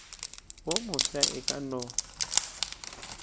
wo mofsa e ka no